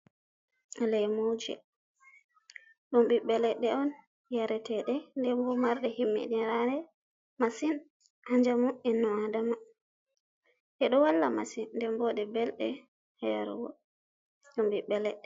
Leemuje ɗum ɓiɓɓe leɗɗe on yare teeɗe, ndembo marɗe himmiɗi naare masin Haa njamu inno adama, ɗe ɗo walla masin nden boo belɗe, yarugo ɗum ɓiɓɓe leɗɗe.